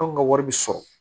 Anw ka wari bɛ sɔrɔ